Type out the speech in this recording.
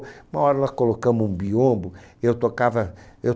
Uma hora nós colocamos um biombo, eu tocava, eu